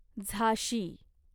झाशी